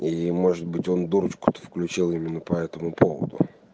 или может быть он дурочку-то включал именно по этому поводу